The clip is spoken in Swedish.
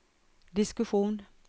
diskussion